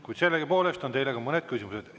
Kuid sellegipoolest on teile mõned küsimused.